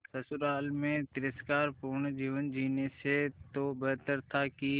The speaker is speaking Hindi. ससुराल में तिरस्कार पूर्ण जीवन जीने से तो बेहतर था कि